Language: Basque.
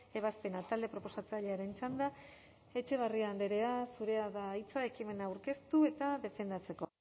ebazpena talde proposatzailearen txanda etxebarria andrea zurea da hitza ekimena aurkeztu eta defendatzeko